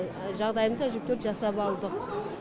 жағдайымызды әжептуір жасап алдық